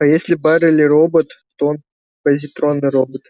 а если байерли робот то он позитронный робот